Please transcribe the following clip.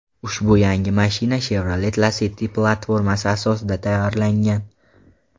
Ushbu yangi mashina Chevrolet Lacetti platformasi asosida tayyorlangan.